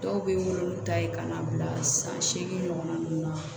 Dɔw bɛ n wolo n'u ta ye ka na bila san seegin ɲɔgɔnna ninnu na